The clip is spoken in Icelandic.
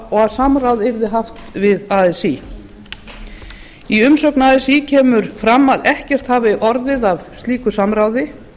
og samráð yrði haft við así í umsögn así kemur fram að ekkert hafi orðið af slíku samráði